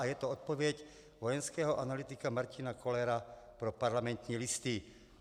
A je to odpověď vojenského analytika Martina Kollera pro Parlamentní listy.